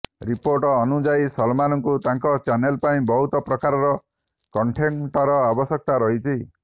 report ଅନୁଯାୟୀ ସଲମାନଙ୍କୁ ତାଙ୍କ ଚ୍ୟାନେଲ ପାଇଁ ବହୁତ ପ୍ରକାରର କଣ୍ଟେଣ୍ଟର ଆବଶ୍ୟକତା ରହିଛି